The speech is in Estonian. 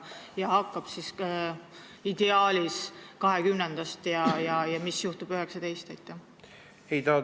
Mis hakkab ideaalis toimuma 2020. aastast ja mis juhtub 2019?